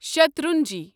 شیٹرنجی